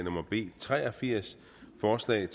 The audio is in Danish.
forslaget